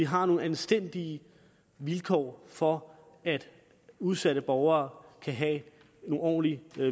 har nogle anstændige vilkår for udsatte borgere de kan have nogle ordentlige